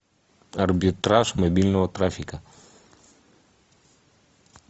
арбитраж мобильного трафика